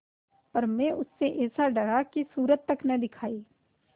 पर मैं उससे ऐसा डरा कि सूरत तक न दिखायी